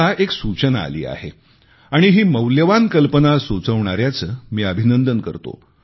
मला एक सूचना आली आहे आणि ही मौल्यवान कल्पना सुचिवणाऱ्यांचे मी अभिनंदन करतो